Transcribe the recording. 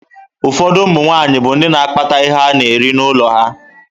Ụfọdụ ụmụ nwaanyị bụ ndị na akpata ihe ana-eri n'ụlọ ha.